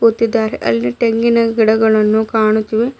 ತಿದ್ದಾರೆ ಅಲ್ಲಿ ತೆಂಗಿನ ಗಿಡಗಳನ್ನು ಕಾಣುತ್ತಿವೆ.